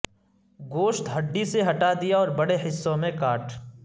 گوشت ہڈی سے ہٹا دیا اور بڑے حصوں میں کاٹ